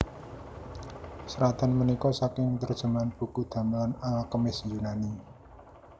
Seratan punika saking terjemahan buku damelan al kemis Yunani